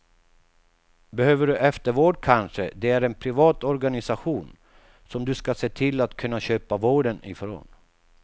Behöver du eftervård kanske det är en privat organisation, som du ska se till att kunna köpa vården ifrån.